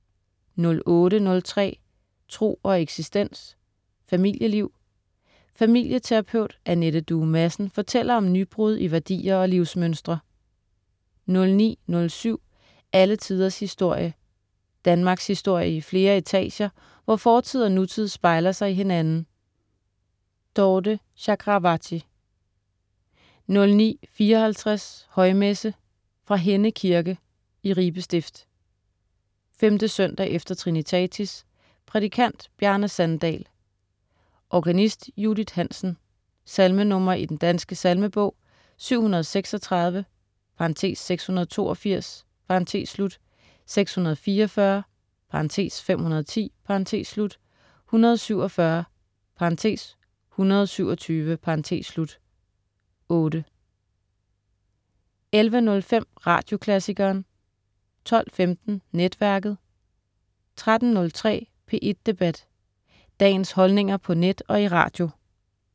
08.03 Tro og eksistens. Familieliv. Familieterapeut Anette Due Madsen fortæller om nybrud i værdier og livsmønstre 09.07 Alle tiders historie. Danmarkshistorie i flere etager, hvor fortid og nutid spejler sig i hinanden. Dorthe Chakravarty 09.54 Højmesse. Fra Henne kirke (Ribe Stift). 5. søndag efter trinitatis. Prædikant: Bjarne Sandal. Organist: Judit Hansen. Salmenr. i Den Danske Salmebog: 736 (682). 644 (510). 147 (127). 8 11.05 Radioklassikeren 12.15 Netværket* 13.03 P1 Debat. Dagens holdninger på net og i radio